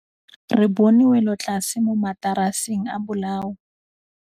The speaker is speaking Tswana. Re bone wêlôtlasê mo mataraseng a bolaô.